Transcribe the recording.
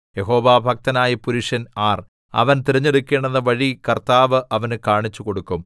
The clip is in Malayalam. യഹോവാഭക്തനായ പുരുഷൻ ആര് അവൻ തിരഞ്ഞെടുക്കേണ്ട വഴി കർത്താവ് അവന് കാണിച്ചുകൊടുക്കും